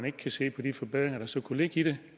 ikke kan se på de forbedringer der så kunne ligge i det